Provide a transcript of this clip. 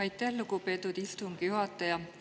Aitäh, lugupeetud istungi juhataja!